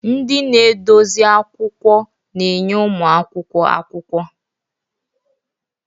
Ndị na-edozi akwụkwọ na-enye ụmụ akwụkwọ akwụkwọ.